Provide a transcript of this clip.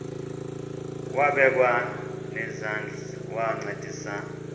wabekwa nezandls wancedisa